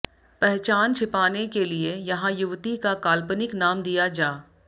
पहचान छिपाने के लिए यहां युवती का काल्पनिक नाम दिया जा